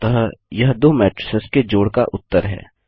अतः यह दो मैट्रिसेस के जोड़ का उत्तर है